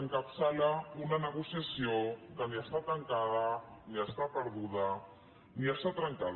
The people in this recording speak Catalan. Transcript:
encapçala una negociació que ni està tancada ni està perduda ni està trencada